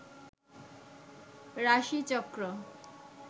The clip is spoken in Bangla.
রাশিচক্র